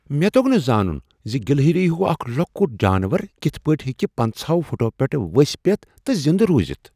مےٚ توٚگ نہ زانُن زِ گلہری ہیو اکھ لۄکٹ جانور کتھ پٲٹھۍ ہیٚکہ پَنٛژاہ ہو فُٹو پیٹھٕ ؤسۍ پیتھ تہِ زنٛدٕ رُوزتھ۔